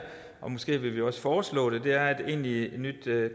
og måske vil vi også foreslå det er et egentligt nyt